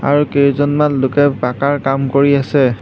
আৰু কেইজনমান লোকে পাকাৰ কাম কৰি আছে।